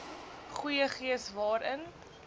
goeie gees waarin